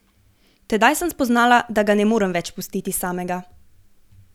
Tedaj sem spoznala, da ga ne morem več pustiti samega.